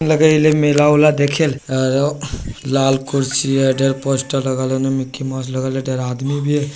लगा रहली मेला ओला देखाइल अ ओ लाल कुर्सी है। ढेर पोस्टर लगा लौने मिकी माउस लगा ले